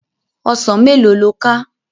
Òsán méló ló ká?